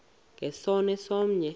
nge sono somnye